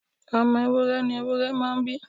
Ọmọ ewúrẹ ni ewúrẹ́ máa ń bí.